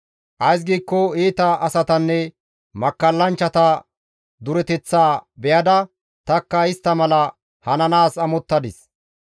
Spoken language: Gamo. Ays giikko iita asatanne makkallanchchata dureteththaa be7ada tanikka istta mala hananaas amottadis.